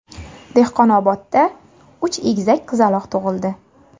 Dehqonobodda uch egizak qizaloq tug‘ildi.